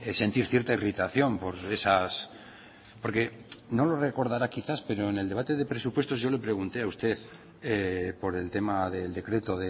sentir cierta irritación por esas porque no lo recordará quizás pero en el debate de presupuestos yo le pregunté a usted por el tema del decreto